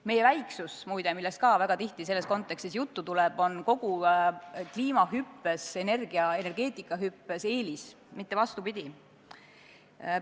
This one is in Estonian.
Meie väiksus, muide, millest ka väga tihti selles kontekstis juttu tuleb, on kogu kliimahüppes, energia- ja energeetikahüppes eelis, mitte vastupidi.